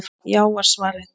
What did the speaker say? Já var svarið.